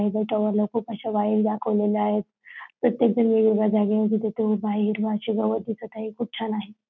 या ज्या टॉवरला खूप आशा वायरी दाखवलेल्या आहेत प्रत्येकजण वेगवेगळ्या जागेवरती तिथे उभा आहे हिरवा अशी गवत दिसत आहे खूप छान आहे.